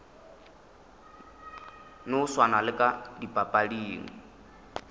no swana le ka dipapading